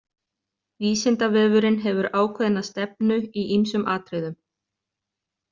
Vísindavefurinn hefur ákveðna stefnu í ýmsum atriðum.